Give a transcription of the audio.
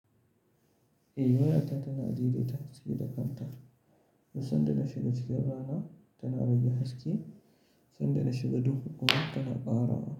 Eh wayata tana dai dai ta haske da kanta. Duk san da na shiga cikin rana tana rage haske, sanda na shiga duk gudu tana ƙara.